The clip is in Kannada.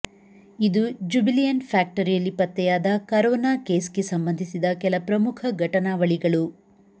ಇದು ಜುಬಿಲಿಯಂಟ್ ಫ್ಯಾಕ್ಟರಿಯಲ್ಲಿ ಪತ್ತೆಯಾದ ಕರೋನಾ ಕೇಸ್ ಗೆ ಸಂಬಂಧಿಸಿದ ಕೆಲ ಪ್ರಮುಖ ಘಟನಾವಳಿಗಳು